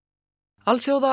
alþjóða